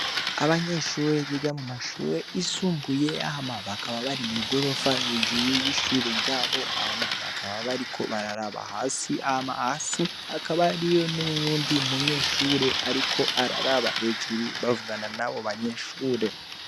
Abanyeshure biga mu mashure yisumbuye hama bakaba bari mw'igorofa hejuru y'ishure ryabo, hama bakaba bariko bararaba hasi, hama hasi hakaba hariyo n'uwundi munyeshure ariko araraba jehuru bavugana nabo banyeshure.